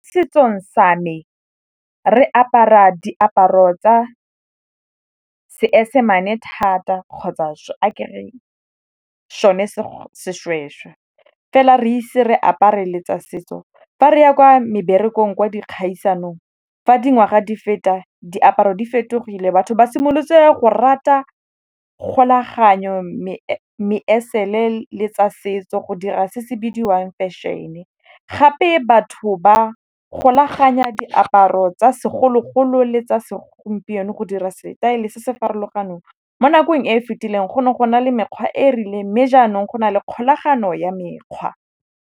Setsong sa me re apara diaparo tsa seesemane thata kgotsa a ke re so ne seshweshwe. Fela re ise re apare le tsa setso fa re ya kwa meberekong kwa dikgaisanong fa dingwaga di feta diaparo di fetogile batho ba simolotse go rata kgolaganyo, meesele le tsa setso go dira se se bidiwang fešhene. Gape batho ba golaganya diaparo tsa segologolo le tsa segompieno go dira setaele se se farologaneng. Mo nakong e e fetileng go ne go na le mekgwa e e rileng mme jaanong go na le kgolagano ya mekgwa.